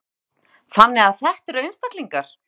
Fréttamaður: Þannig að þetta eru einstaklingar?